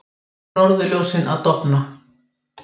Norðurljósin að dofna